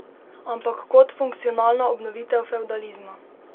Ampak kot funkcionalna obnovitev fevdalizma.